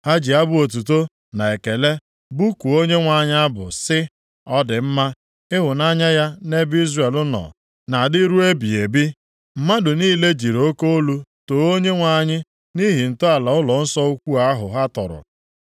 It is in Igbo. Ha ji abụ otuto na ekele bụkuo Onyenwe anyị abụ sị: “Ọ dị mma, ịhụnanya ya nʼebe Izrel nọ na-adị ruo ebighị ebi.” Mmadụ niile jiri oke olu too Onyenwe anyị nʼihi ntọala ụlọnsọ ukwu ahụ ha tọrọ.